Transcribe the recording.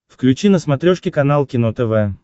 включи на смотрешке канал кино тв